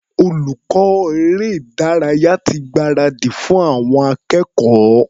Olùkọ́ eré-ìdárayá ti gbáradì fún àwọn akẹ́kọ̀ọ́.